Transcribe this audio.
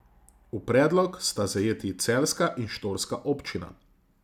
V predlogu sta zajeti celjska in štorska občina.